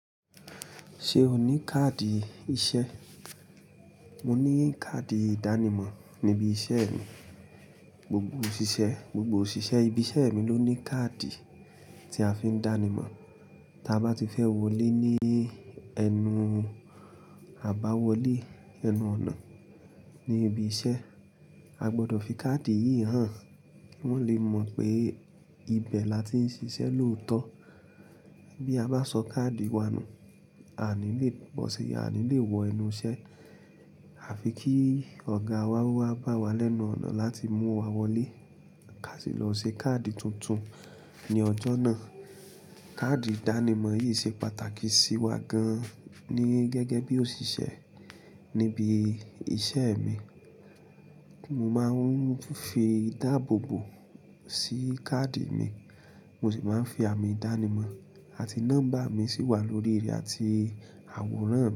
Ṣé o ní káàdì iṣẹ́? Mo ní káàdì ìdánimọ̀ níbi iṣẹ́ mi. Gbogbo òṣìṣẹ́ ibi iṣẹ́ mi ló ní káàdì tí a fi ń dánimọ̀. Ta bá ti fẹ́ wọlé ní ẹnu àbáwọlé, ẹnu ọ̀nà ní ibi iṣẹ́, a gbọdọ̀ fi káàdì yìí hàn. Wọ́n o lè mọ̀ pé ibẹ̀ la ti ń ṣiṣẹ́ lóòótọ́. Bí a bá sọ káàdì wa nù, a ní lé bọ́si, a ní lé wọ ẹnu iṣẹ́. A fi kí ọ̀gá wa wa bá wa lẹ́nu ọ̀nà láti mú wa wọlé. Ká sì lọ ṣe káàdì tuntun ní ọjọ́ náà. Káàdì ìdánimọ̀ yìí ṣe pàtàkì sí wa gan ní gẹ́gẹ́ bí òṣìṣẹ́ níbi iṣẹ́ mi. Mo máa ń fi ìdáàbòbò sí káàdì mi, mo sì máa ń fi àmì ìdánimọ̀ àti nọ́mbà mi sì wà lórí rẹ̀ àti àwòrán mi.